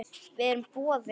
Við erum boðin.